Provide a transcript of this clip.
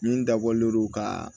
Min dabɔlen lo ka